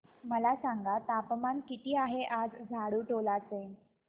मला सांगा तापमान किती आहे आज झाडुटोला चे